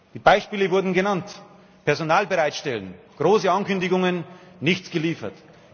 Die Beispiele wurden genannt Personal bereitstellen große Ankündigungen, nichts geliefert